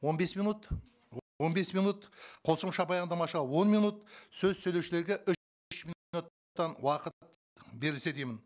он бес минут он бес минут қосымша баяндамашыға он минут сөз сөйлеушілерге уақыт берілсе деймін